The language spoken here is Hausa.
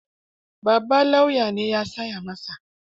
Babban lauya ne ya tsaya masa.